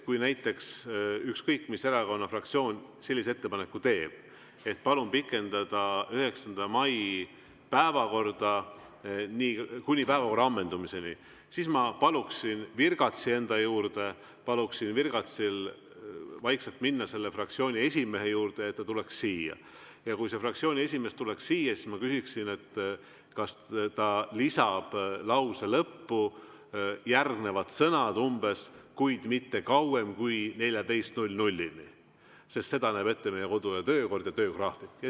Kui näiteks ükskõik mis erakonna fraktsioon sellise ettepaneku teeb, et pikendada 9. mai päevakorda kuni päevakorra ammendumiseni, siis ma paluksin virgatsi enda juurde, paluksin virgatsil vaikselt minna selle fraktsiooni esimehe juurde, kutsuda ta siia, ja kui see fraktsiooni esimees tuleks siia, siis ma küsiksin, kas ta lisab lause lõppu umbes järgmised sõnad: "kuid mitte kauem kui kella 14.00‑ni", sest seda näeb ette meie kodu‑ ja töökord ja töögraafik.